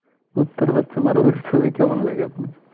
কুত্তার বাচ্ছা মারুল এর ছবি কেমন লেগে আপনার?